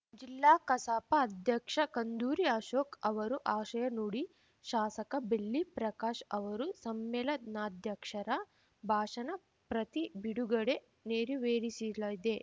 ಜಿಲ್ಲಾ ಕಸಾಪ ಅಧ್ಯಕ್ಷ ಕುಂದೂರು ಅಶೋಕ್‌ ಅವರು ಆಶಯ ನುಡಿ ಶಾಸಕ ಬೆಳ್ಳಿ ಪ್ರಕಾಶ್‌ ಅವರು ಸಮ್ಮೇಳನಾಧ್ಯಕ್ಷರ ಭಾಷಣ ಪ್ರತಿ ಬಿಡುಗಡೆ ನೆರವೇರಿಸಲಿದೆ